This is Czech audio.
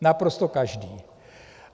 Naprosto každý.